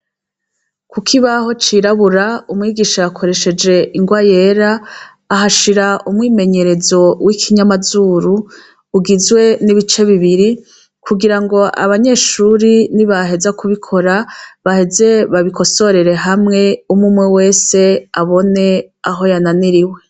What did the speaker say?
Ku kibaho cirabura, umwigisha yakoresheje ingwa yera, ahashira umwimenyerezo w'Ikinyamazuru, ugizwe n'ibice bibiri. Kugira ngo abanyeshuri nibaheza kubikora baheze babikosorere hamwe, umwe umwe wese abone aho yananiriwe.